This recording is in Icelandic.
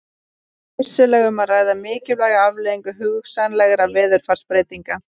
Hér er vissulega um að ræða mikilvæga afleiðingu hugsanlegra veðurfarsbreytinga.